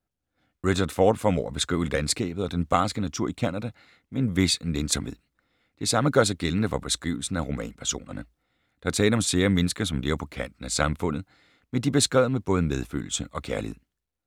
Richard Ford formår at beskrive landskabet og den barske natur i Canada med en vis nænsomhed. Det samme gør sig gældende for beskrivelsen af romanpersonerne. Der er tale om sære mennesker, som lever på kanten af samfundet, men de er beskrevet med både medfølelse og kærlighed.